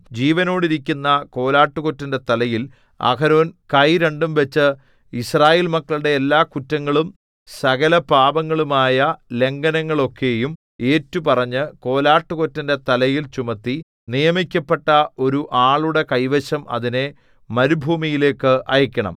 ജീവനോടിരിക്കുന്ന കോലാട്ടുകൊറ്റന്റെ തലയിൽ അഹരോൻ കൈ രണ്ടും വച്ച് യിസ്രായേൽ മക്കളുടെ എല്ലാകുറ്റങ്ങളും സകലപാപങ്ങളുമായ ലംഘനങ്ങളൊക്കെയും ഏറ്റുപറഞ്ഞ് കോലാട്ടുകൊറ്റന്റെ തലയിൽ ചുമത്തി നിയമിക്കപ്പെട്ട ഒരു ആളുടെ കൈവശം അതിനെ മരുഭൂമിയിലേക്ക് അയയ്ക്കണം